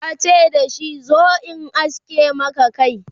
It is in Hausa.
yace dashi "zo in aske Maka Kai!